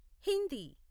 Hindi